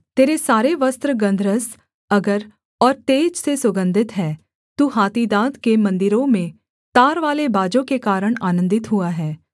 तेरे सारे वस्त्र गन्धरस अगर और तेज से सुगन्धित हैं तू हाथी दाँत के मन्दिरों में तारवाले बाजों के कारण आनन्दित हुआ है